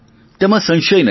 તેમાં સંશય નથી